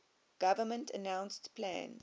government announced plans